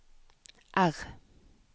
R